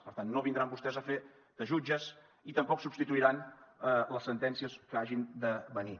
per tant no vindran vostès a fer de jutges i tampoc substituiran les sentències que hagin de venir